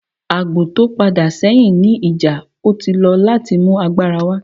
Agbo ti o pada sẹhin ni ija, o ti lọ lati mu agbara wa.